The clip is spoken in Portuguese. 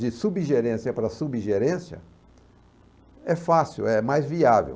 De subgerência para subgerência é fácil, é mais viável.